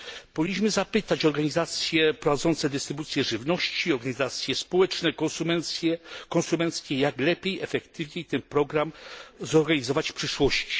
Powinniśmy zapytać organizacje prowadzące dystrybucję żywności, organizacje społeczne, konsumenckie, jak lepiej i efektywniej ten program zorganizować w przyszłości.